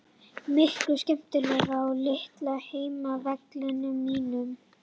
Miklu skemmtilegra á litla heimavellinum mínum.